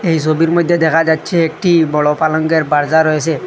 এই সোবির মইদ্যে দেখা যাচ্ছে একটি বড় পালঙ্কের পারজা রয়েসে।